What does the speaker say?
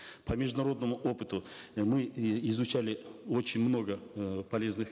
по международному опыту мы изучали очень много э полезных